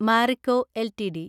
Marico LTD